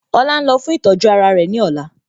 Ọlá ń lọ fún ìtọ́jú ara rẹ ní ọ̀la